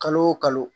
Kalo o kalo